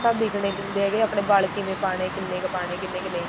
ਆਪਾਂ ਨੂੰ ਦਿਖਨੇ ਨੀ ਹੁੰਦੇ ਹੈਗੇ ਆਪਣੇ ਵਲ ਕਿਵੇਂ ਪਾਉਣੇ ਆ ਕਿੰਨੇ ਕੁ ਪਾਉਣੇ ਆ ਕਿੰਨੇ ਕੁ ਨਹੀਂ